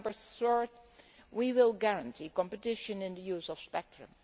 Third, we will guarantee competition in the use of spectrum.